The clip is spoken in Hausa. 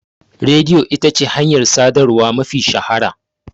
Rediyo ita ce hanyar sadarwa mafi shahara.